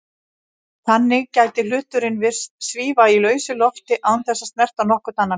Þannig gæti hluturinn virst svífa í lausu lofti án þess að snerta nokkurn annan hlut.